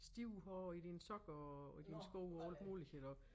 Stive hår i dine sokker og og dine sko og alt muligt iggå